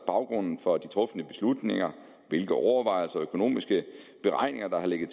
baggrunden for de trufne beslutninger hvilke overvejelser og økonomiske beregninger der har ligget